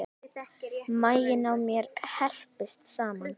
Maginn á mér herpist saman.